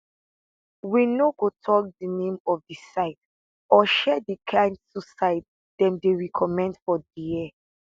we no go tok di name of di site or share di kain suicide dem dey recommend for dia